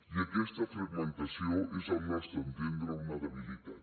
i aquesta fragmentació és al nostre entendre una debilitat